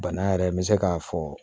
Bana yɛrɛ n bɛ se k'a fɔ